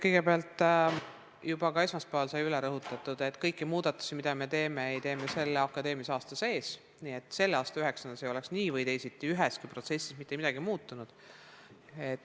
Kõigepealt, juba ka esmaspäeval sai üle rõhutatud, et ühtegi muudatust, mida me teeme, ei tee me akadeemilise aasta sees, nii et selle aasta üheksandikele ei oleks nii või teisiti üheski protsessis mitte midagi muutunud.